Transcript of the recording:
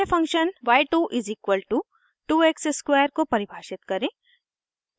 अन्य function y2 = 2x square को परिभाषित करें